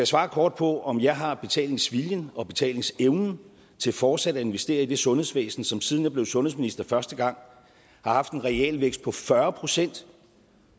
svare kort på om jeg har betalingsviljen og betalingsevnen til fortsat at investere i det sundhedsvæsen som siden jeg blev sundhedsminister første gang har haft en realvækst på fyrre procent